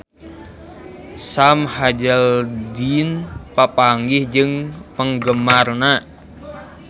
Sam Hazeldine papanggih jeung penggemarna